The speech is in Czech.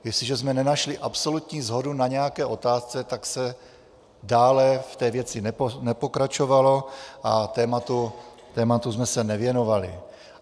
Jestliže jsme nenašli absolutní shodu na nějaké otázce, tak se dále v té věci nepokračovalo a tématu jsme se nevěnovali.